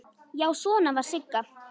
Já, svona var Sigga!